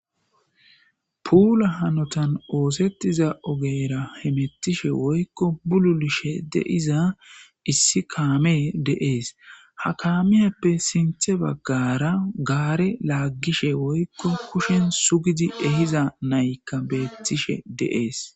puula hanotan oosettiza ogera hemettishe woykko bululishe deiza issi kaamee deees ha kaamieppe sinthe baggara gaare laaggishe woykko kushen sugidi ehiza naykka beettishe de7ees